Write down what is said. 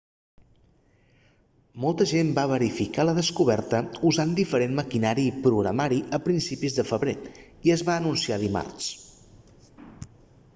molta gent va verificar la descoberta usant diferent maquinari i programari a principis de febrer i es va anunciar dimarts